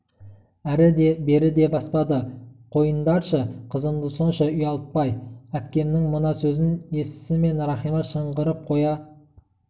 әрі де бері де баспады қойындаршы қызымды сонша ұялтпай әкпемнің мына сөзін естісімен рахима шыңғырып қоя